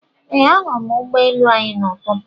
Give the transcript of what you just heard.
Ee, ahụrụ m ụgbọ elu anyị n'ụtụtụ a